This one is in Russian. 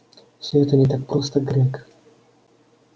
все это не так просто грег